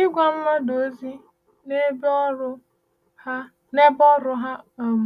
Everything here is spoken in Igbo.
Ịgwa mmadụ ozi n’ebe ọrụ ha n’ebe ọrụ ha um